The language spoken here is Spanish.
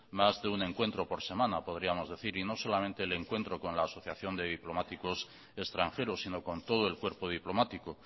más de un encuentro por semana podríamos decir y no solamente el encuentro con la asociación de diplomáticos extranjeros sino con todo el cuerpo diplomático